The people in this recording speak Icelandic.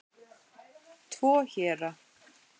Tvo héra